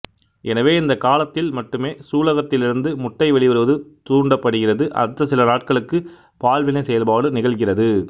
எனவே இந்தக் காலத்தில் மட்டுமே சூலகத்திலிருந்து முட்டை வெளிவருவது தூண்டப்படுகிறது அடுத்த சில நாட்களுக்கு பால்வினை செயல்பாடு நிகழ்கிறது